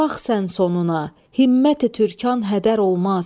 Bax sən sonuna, himməti türkan hədər olmaz.